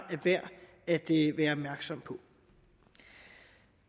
at det er værd at være opmærksom på